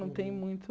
Não tem muito...